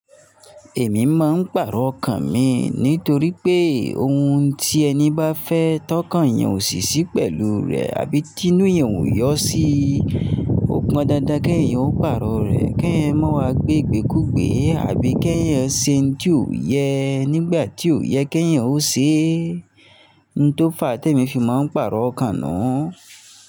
Èmi máa ń pàrọ̀ ọkàn mi nítorí pé ohun tí ẹni bá fẹ́ tọ́ kan yẹn ò sì sí pẹ̀lú rẹ̀ àbí tinú yẹn ò yọ́ sí i, ó pọn dandan kí ẹ̀yan ó pàrọ̀ rẹ̀, kí ẹ̀yan má wa gbé e gbé kúgbe àbí kí ẹ̀yan ó ṣe ohun ti o yẹ nígbà tí ó yẹ kí ẹ̀yan ó ṣe. Ohun tó fà á tí èmi fi máa ń pàrọ̀ ọkàn nu.